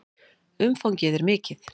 Umfangið er mikið.